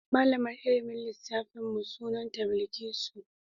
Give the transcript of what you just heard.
Malamar ilmin lissafin mu sunanta Bilkisu.